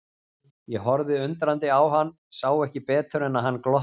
Ég horfði undrandi á hann, sá ekki betur en að hann glotti.